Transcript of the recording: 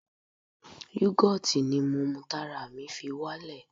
Yugoti ni mo mu tára mi fi wá lè.